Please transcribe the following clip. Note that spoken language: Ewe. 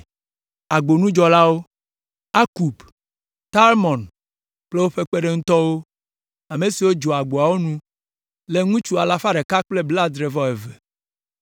Agbonudzɔlawo: Akub, Talmon kple woƒe kpeɖeŋutɔwo, ame siwo dzɔa agboawo nu le ŋutsu alafa ɖeka kple blaadre-vɔ-eve (172).